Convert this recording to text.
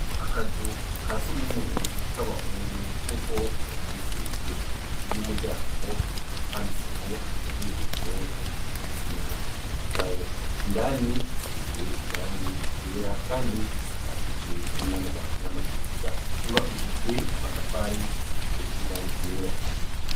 Akazu ka sugumwe k'abahungu nk'uko vyanditse hejuru ry'umuryango bwanditseko na bwiherero obugigisi na gawo indani hasize irangi igera kandi hasakarishijwe n'amabati n'amategura yubakishijwe amatafari hasize n'irang ryera.